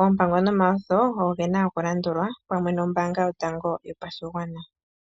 Oompango nomawutho oge na oku landulwa pamwe nombaanga yotango yopashigwana.